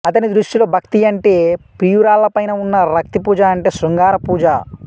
అతని దృష్టిలో భక్తి అంటే ప్రియురాళ్లపైన ఉన్న రక్తి పూజ అంటే శృంగార పూజ